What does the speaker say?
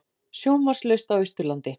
Sjónvarpslaust á Austurlandi